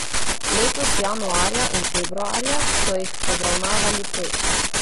Letos januarja in februarja so jih obravnavali pet.